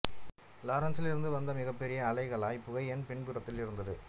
இலாரன்சில் இருந்து வந்த மிகப்பெரிய அலைகளாய் புகை என் பின்புறத்தில் இருந்தது